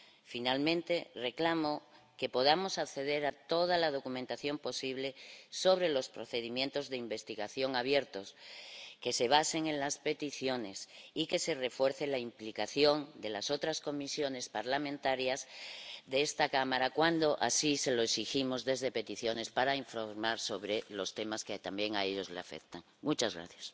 Finalmente, reclamo que podamos acceder a toda la documentación posible sobre los procedimientos de investigación abiertos, que se basen en las peticiones y que se refuerce la implicación de las otras comisiones parlamentarias de esta Cámara cuando así se lo exigimos desde la Comisión de Peticiones para informar sobre los temas que también las afectan a ellas.